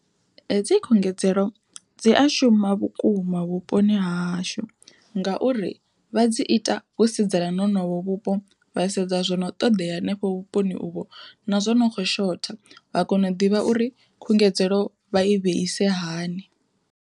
Hedzi khungedzelo dzi a shuma vhukuma vhuponi hahashu, ngauri vha dzi ita vho sedzana na honovho vhupo vha sedza na zwono ṱoḓea hanefho vhuponi uvho na zwo no kho shotha, vha kona u ḓivha uri khungedzelo vha i vheise hani.